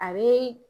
A bɛ